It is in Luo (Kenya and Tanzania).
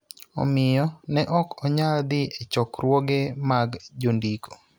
Omiyo, ne ok onyal dhi e chokruoge mag jondiko